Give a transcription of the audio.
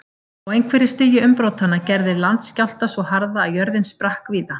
Á einhverju stigi umbrotanna gerði landskjálfta svo harða að jörðin sprakk víða.